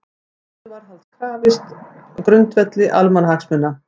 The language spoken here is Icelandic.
Gæsluvarðhaldsins var krafist á grundvelli almannahagsmuna